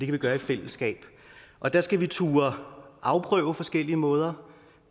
vi gøre i fællesskab og der skal vi turde afprøve forskellige måder